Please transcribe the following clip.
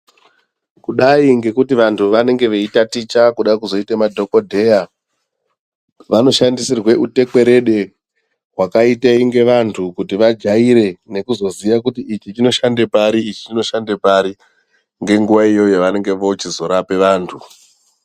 Kungadi ngekuti vantu vanenge veitaticha kuti vazoita madhokodheya vanoshandisirwa utekwerede wakaita kunge vantu kuti vajaire nekuzoziya kuti ichi chinoshanda pari ichi chinoshanda pari ngenguwa iyoyo yavanenge vakuzorape vantu.